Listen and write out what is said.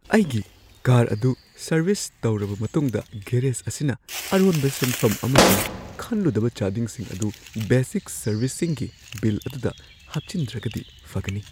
ꯑꯩꯒꯤ ꯀꯥꯔ ꯑꯗꯨ ꯁꯔꯚꯤꯁ ꯇꯧꯔꯕ ꯃꯇꯨꯡꯗ ꯒꯦꯔꯦꯖ ꯑꯁꯤꯅ ꯑꯔꯣꯟꯕ ꯁꯦꯟꯐꯝ ꯑꯃꯁꯨꯡ ꯈꯟꯂꯨꯗꯕ ꯆꯥꯗꯤꯡꯁꯤꯡ ꯑꯗꯨ ꯕꯦꯁꯤꯛ ꯁꯔꯚꯤꯁꯤꯡꯒꯤ ꯕꯤꯜ ꯑꯗꯨꯗ ꯍꯥꯞꯆꯤꯟꯗ꯭ꯔꯒꯗꯤ ꯐꯒꯅꯤ꯫